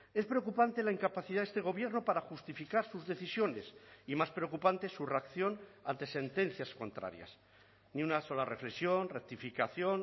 es preocupante la incapacidad de este gobierno para justificar sus decisiones y más preocupante su reacción ante sentencias contrarias ni una sola reflexión rectificación